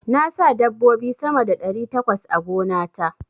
Na sa dabbobi sama da ɗari takwas a gona ta.